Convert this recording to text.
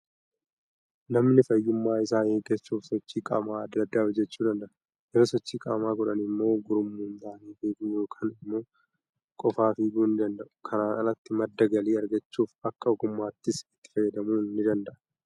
Namani fayyummaa isaa eeggachuuf, sochii qaamaa adda addaa hojjechuu danada'a. Yeroo sochii qaamaa godhan immoo, gurmuun ta'anii fiiguu yookaan immoo qofaa fiiguu ni danda'u. Kanaan alatti madda galii argachuuf akka ogummaattis itti fayyadamuu ni danda'u.